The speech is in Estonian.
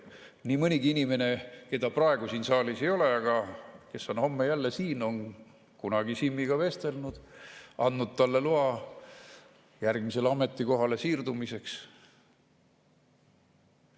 Nii mõnigi inimene, keda praegu siin saalis ei ole, aga kes on homme jälle siin, on kunagi Simmiga vestelnud, andnud talle loa järgmisele ametikohale siirdumiseks.